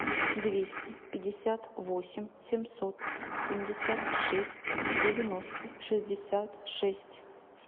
двести пятьдесят восемь семьсот семьдесят шесть девяносто шестьдесят шесть